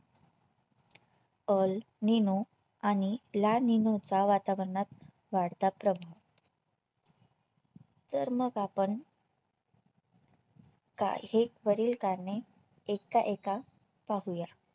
Al nine आणि La nine चा वातावरणात वाढता प्रभाव तर मग आपण का हेक वरील कारणे एका एका पाहूया